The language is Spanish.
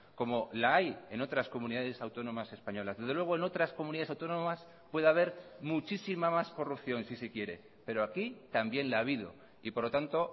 como la hay en otras comunidades autónomas españolas desde luego en otras comunidades autónomas puede haber muchísima más corrupción si se quiere pero aquí también la ha habido y por lo tanto